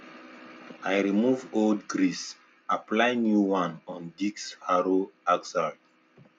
i remove old grease apply new one on disc harrow axle